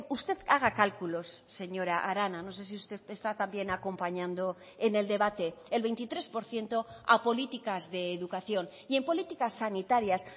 usted haga cálculos señora arana no sé si usted está también acompañando en el debate el veintitrés por ciento a políticas de educación y en políticas sanitarias